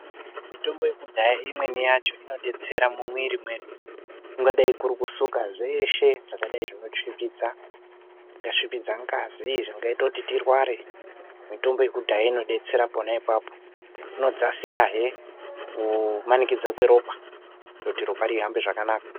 Mitombo yekudhaya imweni yacho inodetsera mumwiri mwedu kungadai kuri kusuka zveshe zvakadai zvinosvipidza ngazi uye zvingaita kuti tirware, mitombo yekudhaya inodetsera pona apapo inodzakisahe nekumanikidzika kweropa kuti rihambe zvakanaka.